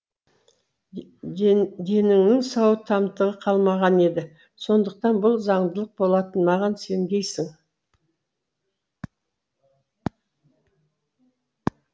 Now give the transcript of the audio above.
денеңнің сау тамтығы қалмаған еді сондықтан бұл заңдылық болатын маған сенгейсің